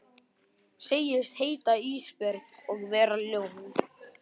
Segist heita Ísbjörg og vera ljón.